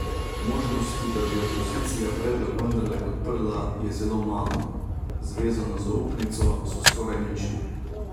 Možnosti, da bi opozicija predlog vendarle podprla, je zelo malo, z vezano zaupnico so skoraj nične.